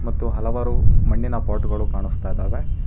ಮತ್ತು ಹಲವಾರು ಮಣ್ಣಿನ ಪಾಟ್ ಗಳು ಕಾಣಿಸ್ತಾ ಇದಾವೆ.